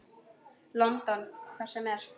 London. hvert sem er.